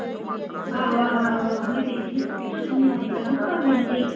ਆਹੋ-ਆਹੋ-ਆਹੋ, ਉਹੀ ਵੇਖਦੀ ਆ ਸੁੱਖੀ